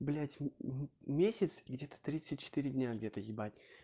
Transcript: блять месяц где-то тридцать четыре дня где-то ебать